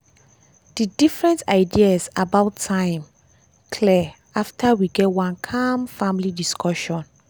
dey different ideas about time clear after we get one calm family discussion.